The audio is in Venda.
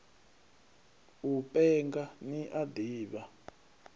u penga ni a ḓivha